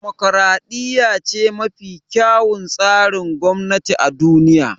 Demokaraɗiya ce mafi kyawun tsarin gwamnati a duniya